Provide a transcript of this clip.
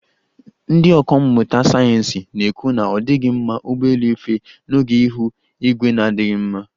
Ndi ọka mmụta sayeensị na-ekwu na ọ dighị mma ụgbọelu ife oge ihu igwe na-adighị mma.